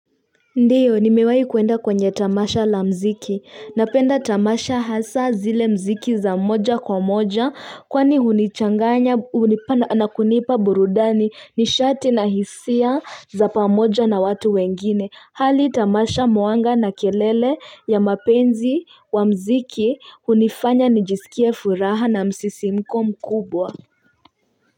Ndiyo nimewahi kuenda kwenye tamasha la muziki, napenda tamasha hasaa zile muziki za moja kwa moja kwani hunichanganya na kunipa burudani nishati na hisia za pamoja na watu wengine, hali tamasha mwanga na kelele ya mapenzi wa muziki hunifanya nijisikie furaha na msisimko mkubwa.